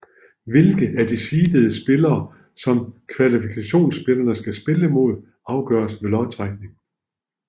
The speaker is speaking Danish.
Hvilken af de seedede spillere som kvalifikationsspillerne skal spille mod afgøres ved lodtrækning